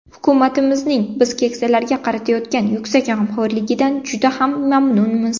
Hukumatimizning biz keksalarga qaratayotgan yuksak g‘amxo‘rligidan juda ham mamnunmiz.